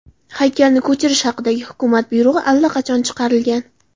Haykalni ko‘chirish haqidagi hukumat buyrug‘i allaqachon chiqarilgan.